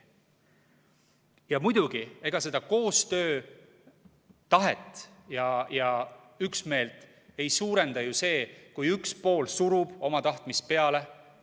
Ja muidugi, ega seda koostöötahet ja üksmeelt ei suurenda ju see, kui üks pool surub oma tahtmist peale.